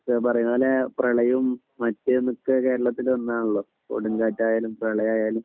ഇതാ പറയുന്നത് അല്ലെ പ്രളയം ഇപ്പം നിത്യ കേരളത്തിനെ ഒന്നാണല്ലോക് കൊടുങ്കാറ്റായാലും പ്രളയം ആയാലും